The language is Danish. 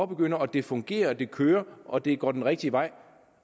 begynder og det fungerer og det kører og det går den rigtige vej